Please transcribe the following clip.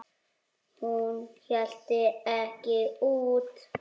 Hún hélt það ekki út!